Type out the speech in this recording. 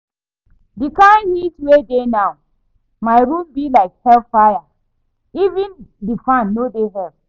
The kyn heat wey dey now, my room be like hellfire. Even the fan no dey help